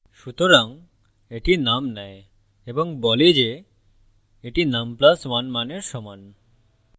সুতরাং এটি num নেয় এবং বলে যে এটি num + 1 মানের সমান